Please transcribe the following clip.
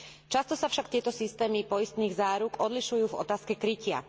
Často sa však tieto systémy poistných záruk odlišujú v otázke krytia.